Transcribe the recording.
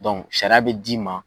sariya be d'i ma